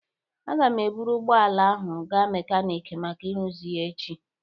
Aga m eburu ụgbọ ala ahụ gaa mekaniki maka ịrụzi ya echi.